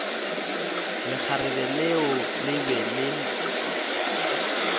lekgarebe leo le be le